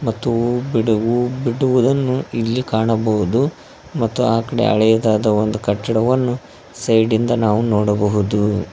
ಮತ್ತು ಬಿಡುವು ಬಿಡುವುದನ್ನು ಇಲ್ಲಿ ಕಾಣಬಹುದು ಮತ್ತು ಆ ಕಡೆ ಹಳೆಯದಾದ ಒಂದ ಕಟ್ಟಡವನ್ನು ಸೈಡಿಂದ ನಾವು ನೋಡಬಹುದು.